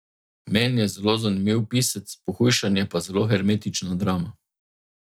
Meni je zelo zanimiv pisec, Pohujšanje pa zelo hermetična drama.